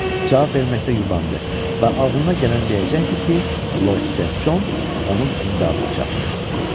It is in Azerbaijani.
Cavab verməkdə yubandı və ağlına gələni deyəcəkdi ki, Lord Sent Con onun imdadına çatdı.